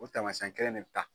O taamasiyɛn kelen ne bɛ ta.